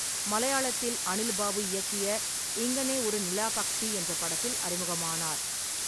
மலையாளத்தில் அனில் பாபு இயக்கிய 'இங்கனே ஒரு நிலாபக்ஷி' என்ற படத்தில் அறிமுகமானார்.